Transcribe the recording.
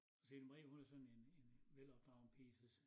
Og så Ida Marie hun er sådan en en velopdragen pige så